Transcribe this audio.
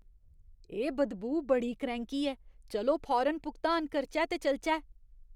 एह् बदबू बड़ी करैंह्की ऐ। चलो फौरन भुगतान करचै ते चलचै।